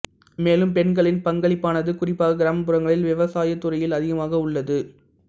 மேலும் பெண்களின் பங்களிப்பானது குறிப்பாக கிராமப்புறங்களில் விவசாயத் துறையில் அதிகமாக உள்ளது